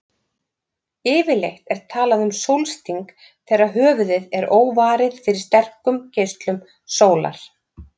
Yfirleitt er talað um sólsting þegar höfuðið er óvarið fyrir sterkum geislum sólar.